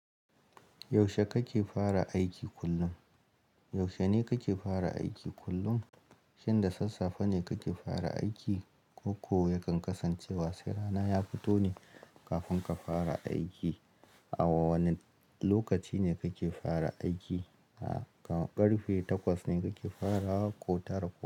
Yaushe kake fara aiki kullum? Yaushe ne kake fara aiki kullum? Shin da sassafe ne kake fara aiki ko ko yakan kasancewa sai rana ya fito ne kafin ka fara aiki? A wa wane lokaci ne kake fara aiki? Da ƙarfe takwas ne kake farawa ko tara?